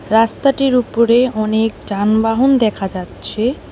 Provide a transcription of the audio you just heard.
রাস্তাটির উপরে অনেক যানবাহন দেখা যাচ্ছে।